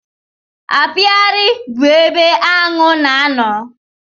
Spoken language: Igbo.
Apiari bụ ebe aṅụ na-ano.